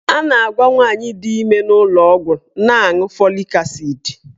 A na-agwa nwaanyị di ime n'ụlọọgwụ na-aṅụ folik asid.